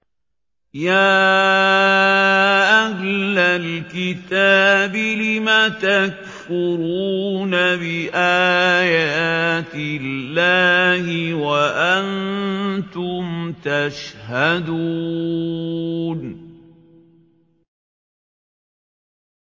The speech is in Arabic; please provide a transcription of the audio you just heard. يَا أَهْلَ الْكِتَابِ لِمَ تَكْفُرُونَ بِآيَاتِ اللَّهِ وَأَنتُمْ تَشْهَدُونَ